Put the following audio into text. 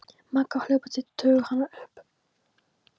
Magga hlupu til og toguðu hana upp.